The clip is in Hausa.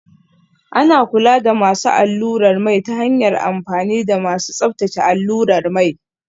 Ana kula da masu allurar mai ta hanyar amfani da masu tsabtace allurar mai